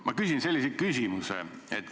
Ma küsin sellise küsimuse.